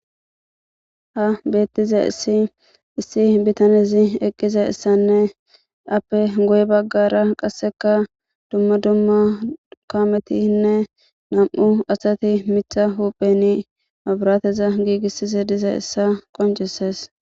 Ha betizaysi bitanezi eqizaysane ape guye bagara qaseka dumma dumma kametinne nam'u asati mita huphen mabrateza gigisiza dizaysa qonc'ses.